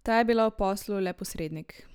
Ta je bila v poslu le posrednik.